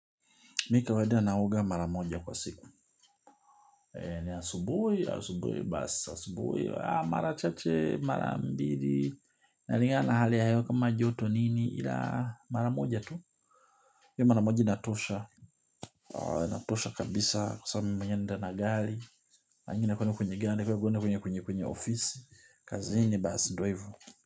Mi kawaida naoga mara moja kwa siku. Ni asubui, asubui basi asubui. Mara chache, mara mbili. Inalingana hali ya hewa kama joto nini ila mara moja tu. Hiyo mara moja inatosha. Inatosha kabisa kwa sababu mimi mwenyewe naenda na gari. Angin kwenda kujiganda kwenda kwenye kwenye ofisi. Kazini basa ndo hivo.